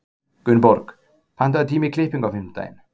Gunnborg, pantaðu tíma í klippingu á fimmtudaginn.